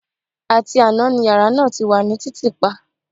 Àti àná ni yàrá náà ti wà ní títìpa